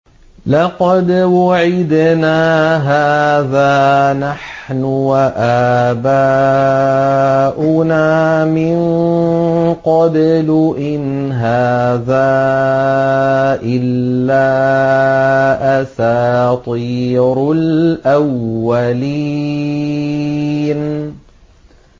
لَقَدْ وُعِدْنَا هَٰذَا نَحْنُ وَآبَاؤُنَا مِن قَبْلُ إِنْ هَٰذَا إِلَّا أَسَاطِيرُ الْأَوَّلِينَ